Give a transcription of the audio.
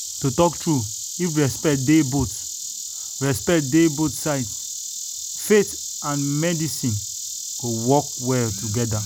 to talk true if respect dey both respect dey both sides faith and medicine go work well together.